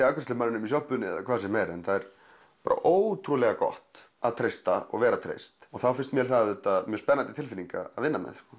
afgreiðslumaðurinn í sjoppunni eða hvað sem er en það er ótrúlega gott að treysta og vera treyst og þá finnst mér það spennandi tilfinning að vinna með